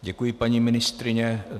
Děkuji, paní ministryně.